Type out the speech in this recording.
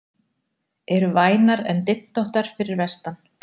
Eru vænar en dyntóttar fyrir vestan